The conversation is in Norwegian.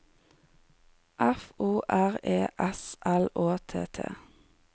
F O R E S L Å T T